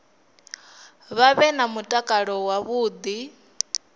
vha vhe na mutakalo wavhuḓi